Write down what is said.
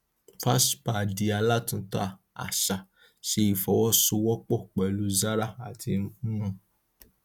fashpa di alátúntà àṣà ṣe ifọwọ́sowọ́pọ̀ pẹlú zara àti hm